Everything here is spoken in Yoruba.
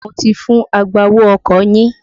Mo ti fún agbowó ọkọ̀ yín.